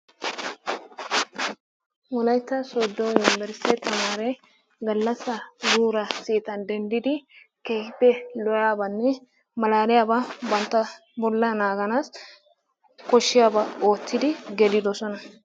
Wolayitta sooddo yumberestiya tameeree gallasaa, guuraa, seetaan dendidi keehippe lo'iyaabanne malaaliyaba bantta bollaa naaganas koshshiyaba oottidi gelidosona.